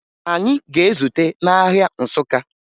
Anyị ga-ezute n'ahịa Nsụka